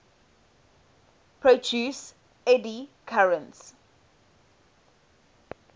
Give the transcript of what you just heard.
produce eddy currents